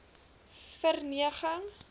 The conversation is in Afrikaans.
verneging